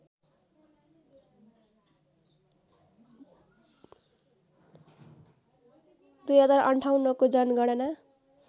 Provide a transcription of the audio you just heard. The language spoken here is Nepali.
२०५८ को जनगणना